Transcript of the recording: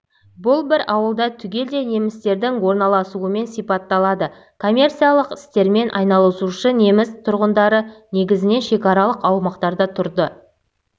бұл бір ауылда түгелдей немістердің орналасуымен сипатталады коммерциялық істермен айналысушы неміс тұрғындары негізінен шекаралық аумақтарда тұрды